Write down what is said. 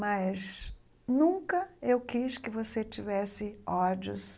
Mas nunca eu quis que você tivesse ódios,